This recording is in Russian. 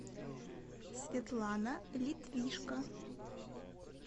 светлана литвишко